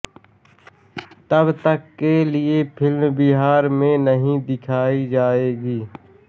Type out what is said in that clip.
तब तक के लिए फिल्म बिहार में नहीं दिखाई जाएगी